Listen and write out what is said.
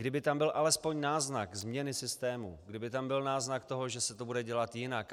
Kdyby tam byl alespoň náznak změny systému, kdyby tam byl náznak toho, že se to bude dělat jinak.